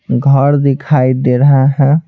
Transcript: घर दिखाई दे रहा है।